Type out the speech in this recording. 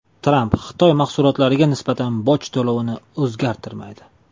Tramp Xitoy mahsulotlariga nisbatan boj to‘lovini o‘zgartirmaydi.